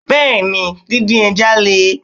Bẹ́ẹ̀ni, din din Le.